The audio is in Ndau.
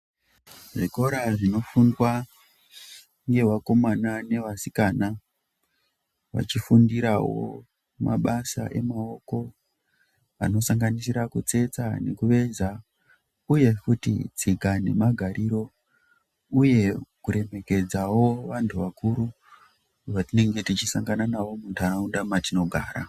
Zvikora zvinofundwa ngevakomana nevasikana vachifundirawo mabasa emaoko anosanganisira kutsetsa nekuveza uye futi tsika nemagariro uye kuremekedzawo vantu vakuru wetinenge tichisangana navo munharaunda yetinogara.